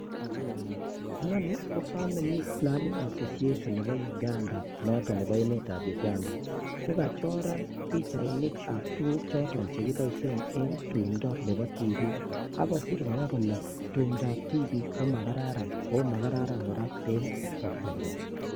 Inoni ko family plan association noton nebo emetab Uganda, kokachoran pichainikab tuguk choton chekiboishien en tumdo Nebo tibiik, ako kosiir kora kole tumdo ab tibiik komakararan ak makararan kora en bortanywan